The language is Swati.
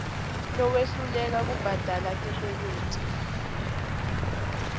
lowehluleka kubhadala tikweleti